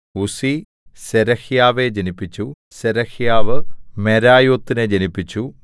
ഉസ്സി സെരഹ്യാവെ ജനിപ്പിച്ചു സെരഹ്യാവ് മെരായോത്തിനെ ജനിപ്പിച്ചു